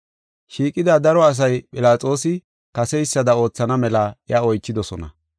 Shiiqida daro asay Philaxoosi kaseysada oothana mela iya oychidosona.